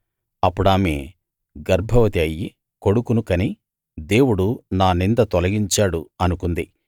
అప్పుడామె గర్భవతి అయ్యి కొడుకును కని దేవుడు నా నింద తొలగించాడు అనుకుంది